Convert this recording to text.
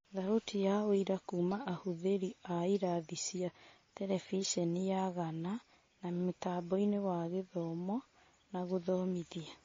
Thauti na ũira kuuma ahũthĩri a ĩrathi cia Terebiceniya Gana na mũtamboinĩ wa gũthoma na gũthomithia.